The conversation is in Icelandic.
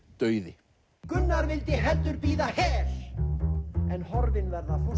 dauði Gunnar vildi heldur bíða hel en horfin vera fósturjarðarströndum